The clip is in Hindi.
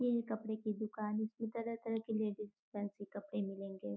ये है कपड़े की दुकान जिस में तरह-तरह के लेडीज़ फैंसी कपड़े मिलेंगे।